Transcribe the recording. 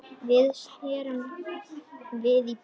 Við snerum við í bæinn.